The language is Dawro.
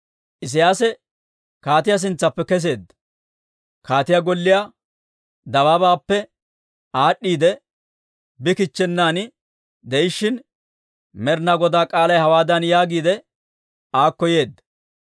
Isiyaasi kaatiyaa sintsaappe kesseedda; kaatiyaa golliyaa dabaabaappe aad'd'iidde bi kichchennan de'ishshin, Med'ina Godaa k'aalay hawaadan yaagiidde, aakko yeedda,